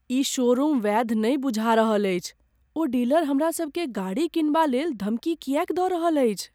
ई showroom वैध नहि बुझा रहल अछि। ओ डीलर हमरा सभकेँ गाड़ी किनबालेल धमकी किएक दऽ रहल अछि?